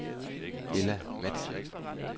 Ella Matzen